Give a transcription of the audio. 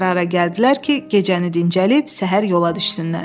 Qərara gəldilər ki, gecəni dincəlib səhər yola düşsünlər.